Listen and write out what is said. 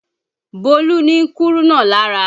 Bólú ni kúrúnà lára